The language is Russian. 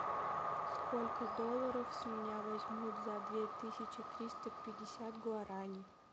сколько долларов с меня возьмут за две тысячи триста пятьдесят гуараней